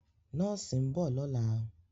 Nọ́ọ̀sì ń bọ̀ lọ́la.